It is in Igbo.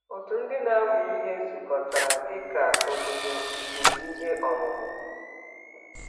Òtù ndị na-amụ ihe zukọtara dị ka “obodo nke ihe ọmụma.”